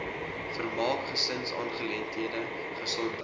vermaak gesinsaangeleenthede gesondheid